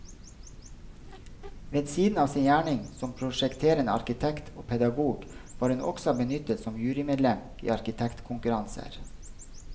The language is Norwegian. Ved siden av sin gjerning som prosjekterende arkitekt og pedagog var hun også benyttet som jurymedlem i arkitektkonkurranser.